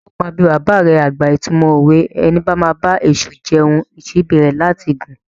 Ǹjẹ́ o máa bi bàbà rẹ àgbà ìtumọ̀ òwe "Ẹni bá máa bá èṣù jẹun, síbí rẹ̀ ní láti gùn"?